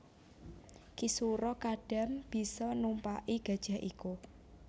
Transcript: Ki Sura Kadam bisa numpaki gajah iku